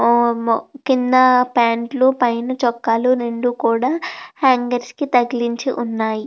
ఓం కింద ఫాంట్ లు పైన చొక్కాలు రెండు కూడా హంగర్స్ కి తగిలించి ఉన్నాయి.